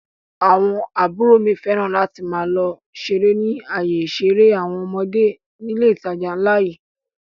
Àwọn àbúrò mi fẹ́ràn láti máa lọ ṣeré ni ayé ìṣeré àwọn ọmọdé nílé ìtajà ńlá yìí